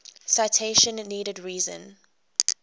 citation needed reason